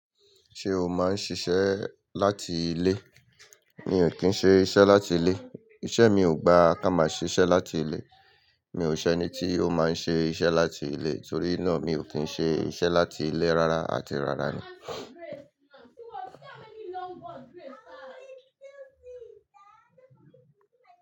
Ṣé o máa ń ṣiṣẹ́ láti ilé? Mi ò kí ń ṣe iṣẹ́ láti ilé. Iṣẹ́ mi ò gbà ká máa ṣe iṣẹ́ láti ilé. Mi ò ṣẹ́ ẹni tí ó máa ń ṣe iṣẹ́ láti ilé, torí náà mi ò kí ń ṣe iṣẹ́ láti ilé rárá àti rárá ni.